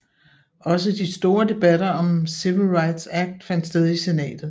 Også de store debatter om Civil Rights Act fandt sted i Senatet